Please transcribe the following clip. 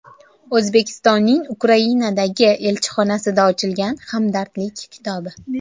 O‘zbekistonning Ukrainadagi elchixonasida ochilgan hamdardlik kitobi.